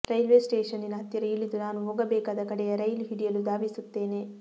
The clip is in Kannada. ರೈಲ್ವೆ ಸ್ಟೇಷನ್ನಿನ ಹತ್ತಿರ ಇಳಿದು ನಾನು ಹೋಗಬೇಕಾದ ಕಡೆಯ ರೈಲು ಹಿಡಿಯಲು ಧಾವಿಸುತ್ತೇನೆ